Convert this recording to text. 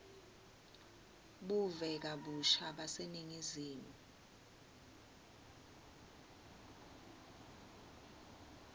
buve kabusha baseningizimu